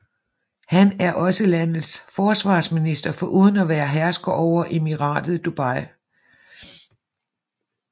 Han er også landets forsvarsminister foruden at være hersker over Emiratet Dubai